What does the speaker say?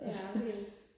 ja okay